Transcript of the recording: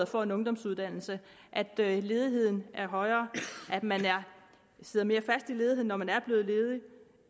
får en ungdomsuddannelse at at ledigheden er højere at man sidder mere fast i ledigheden når man er blevet ledig